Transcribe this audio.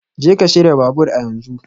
Jeka shirya babur a yanzu